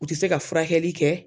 U te se ka furakɛli kɛ